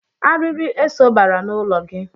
Arịrị eso bara n'ụlọ gị.